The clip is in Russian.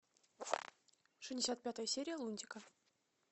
шестьдесят пятая серия лунтика